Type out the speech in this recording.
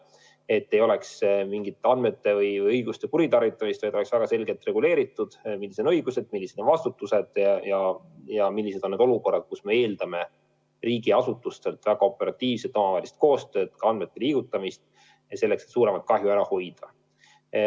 Ei tohi olla mingit andmete või õiguste kuritarvitamist, vaid peab olema väga selgelt reguleeritud, millised on õigused, milline on vastutus ja millised on need olukorrad, kus me eeldame riigiasutustelt väga operatiivset omavahelist koostööd, ka andmete liigutamist, selleks et suuremat kahju ära hoida.